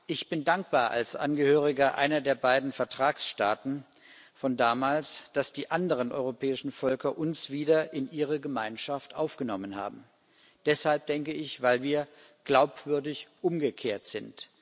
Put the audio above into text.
Ich bin dankbar, als Angehöriger einer der beiden Vertragsstaaten von damals, dass die anderen europäischen Völker uns wieder in ihre Gemeinschaft aufgenommen haben deshalb, denke ich, weil wir glaubwürdig umgekehrt sind.